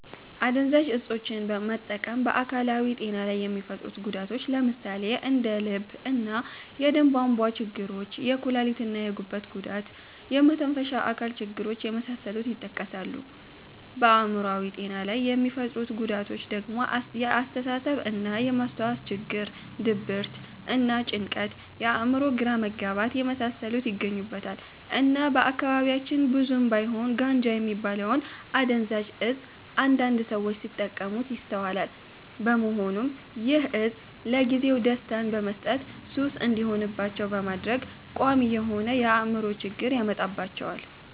አደንዛዥ እፆችን መጠቀም በ አካላዊ ጤና ላይ የሚፈጥሩት ጉዳቶች ለምሳሌ እንደ የልብ እና የደም ቧንቧ ችግሮች፣ የኩላሊት እና የጉበት ጉዳት፣ የመተንፈሻ አካል ችግር የመሳሰሉት ይጠቀሳሉ። በአእምሮአዊ ጤና ላይ የሚፈጥሩት ጉዳቶች ደግሞ የአስተሳሰብ እና የ ማስታወስ ችግር፣ ድብርት እና ጭንቀት፣ የ አእምሮ ግራ መጋባት የመሳሰሉት ይገኙበታል። እና በአካባቢያችን ብዙም ባይሆን ጋንጃ የሚባለውን አደንዛዥ እፅ አንዳንድ ሰዎች ሲጠቀሙት ይስተዋላል በመሆኑም ይህ እፅ ለጊዜው ደስታን በመስጠት ሱስ እንዲሆንባቸው በማድረግ ቋሚ የሆነ የ አእምሮ ችግርን ያመጣባቸዋል።